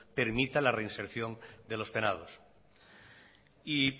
permita la reinserción de los penados